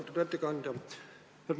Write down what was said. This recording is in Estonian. Austatud ettekandja!